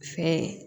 Fɛn